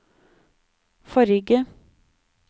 forrige